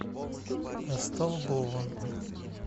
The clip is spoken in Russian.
столбова